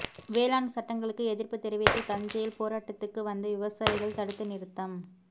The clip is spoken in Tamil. வேளாண் சட்டங்களுக்கு எதிர்ப்பு தெரிவித்து தஞ்சையில் போராட்டத்துக்கு வந்த விவசாயிகள் தடுத்து நிறுத்தம்